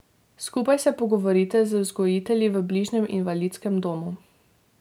Skupaj se pogovorite z vzgojitelji v bližnjem invalidskem domu.